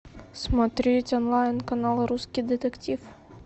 смотреть онлайн канал русский детектив